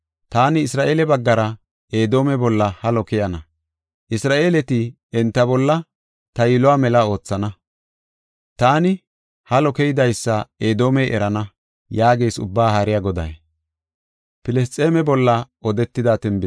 Taani Isra7eele baggara Edoome bolla halo keyana. Isra7eeleti enta bolla ta yiluwa mela oothana. Taani halo keydaysa Edoomey erana” yaagees Ubbaa Haariya Goday.